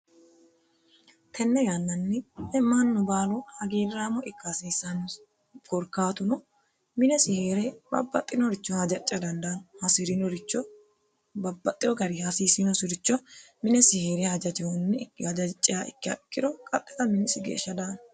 tenne yannanni mannu baalu hagiirraamo ikka hasiissannosi korkaatuno minesi heere hasirinoricho hajacca dandaanno hasirinoricho minesi heere hajaciha ikkiha ikkiro qaxxita minisi geeshsha daa dandaanno.